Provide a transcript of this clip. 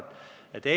Nii ei ole õige.